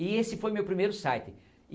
E esse foi meu primeiro site.